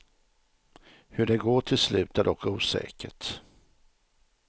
Hur det går till slut är dock osäkert.